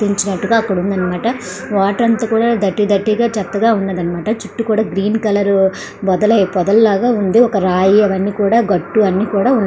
ప్రయత్నించగా అక్కడ ఉంది అన్నమాట. వాటర్ అంత డర్టీ డర్టీ గా చెత్తగా ఉన్నది అన్నమాట. చుట్టూ కూడా గ్రీన్ కలర్ వదలై వదల లాగా ఉన్నది కదా. ఒక రాయి అని కూడా ఒక ఘాటు కూడా--